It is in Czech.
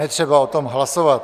netřeba o tom hlasovat.